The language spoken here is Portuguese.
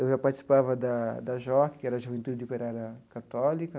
Eu já participava da da JOC, que era a Juventude de Operária Católica.